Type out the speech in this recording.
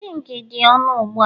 zinc dị ọnụ ugbu a